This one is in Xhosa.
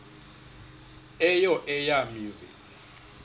eyo eya mizi